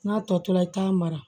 N'a tɔ tora i t'a mara